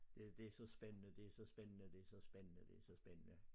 Ja det så spændende det så spændende det så spændende det så spændende